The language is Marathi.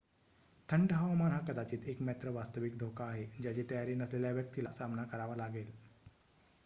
थंड हवामान हा कदाचित एकमात्र वास्तविक धोका आहे ज्याचा तयारी नसलेल्या व्यक्तीला सामना करावा लागेल